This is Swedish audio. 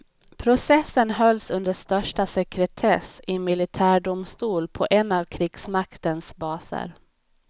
Processen hölls under största sekretess i en militärdomstol på en av krigsmaktens baser.